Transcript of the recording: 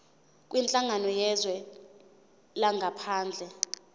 kwinhlangano yezwe langaphandle